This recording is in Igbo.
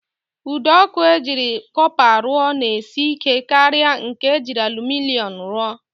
Ụdọọkụ e jiri kọpa rụọ na-esi ike karịa nke e jiri alụminịọm rụọ